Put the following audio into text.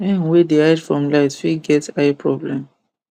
hen wey dey hide from light fit get eye problem